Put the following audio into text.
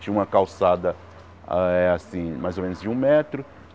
Tinha uma calçada, ah eh assim, mais ou menos de um metro.